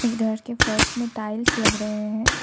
इस घर के फर्श में टाइल्स लग रहे हैं।